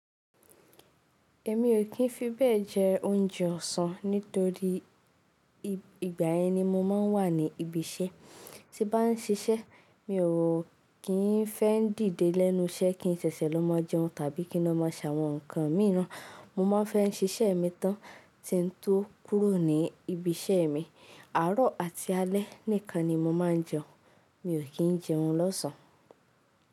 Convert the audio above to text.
Èmi ò kí ń fi bẹ́ẹ̀ jẹ oúnjẹ ọ̀sán nítorí ìgbà ẹni mo máa ń wà ní ibi iṣẹ́. Sí bá ń ṣiṣẹ́, mi ò kí ń fẹ́ dìde lẹ́nu iṣẹ́ kí n ṣẹ̀ṣẹ̀ ló máa jẹun tàbí kí n ó máa sa àwọn ǹkan míràn. Mo máa fẹ́ ń ṣiṣẹ́ mi tán tí ń tó kúrò ní ibi iṣẹ́ mi. Àárọ̀ àti alẹ́ nìkan ni mo máa ń jẹun. Mi ò kí ń jẹun lọ́sàn án.